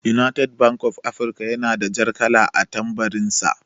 "United bank for Africa" yana da jar kala a tambarin sa.